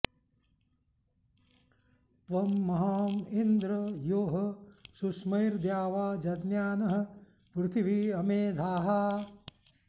त्वं म॒हाँ इ॑न्द्र॒ यो ह॒ शुष्मै॒र्द्यावा॑ जज्ञा॒नः पृ॑थि॒वी अमे॑ धाः